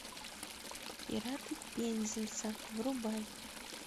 пираты пензанса врубай